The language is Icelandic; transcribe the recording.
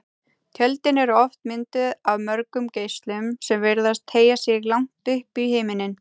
Tjöldin eru oft mynduð af mörgum geislum sem virðast teygja sig langt upp í himininn.